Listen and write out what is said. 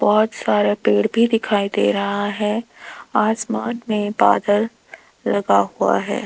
बहोत सारे पेड़ भी दिखाई दे रहा है आसमान में बादल लगा हुआ है।